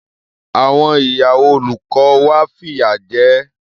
Àwọn ìyàwó olùkọ́ wa fìyà jẹ ẹ́.